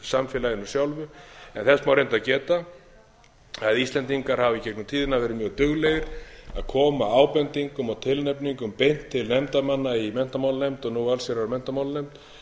samfélaginu sjálfu en þess má reyndar geta að íslendingar hafa í gegnum tíðina veri mjög duglegir að koma ábendingum og tilnefningum beint til nefndarmanna í menntamálanefnd nú allsherjar og menntamálanefnd